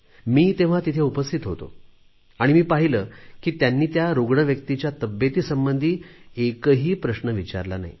मी तेव्हा तिथे उपस्थित होतो आणि मी पाहिले की त्यांनी त्या रुग्ण व्यक्तीच्या तब्येतीसंबंधी एकही प्रश्न विचारला नाही